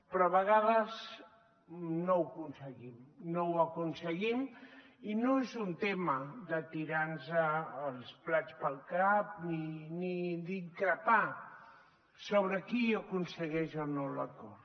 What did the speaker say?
però a vegades no ho aconseguim no ho aconseguim i no és un tema de tirarnos els plats pel cap ni d’increpar sobre qui aconsegueix o no l’acord